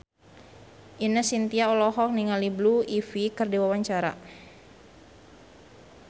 Ine Shintya olohok ningali Blue Ivy keur diwawancara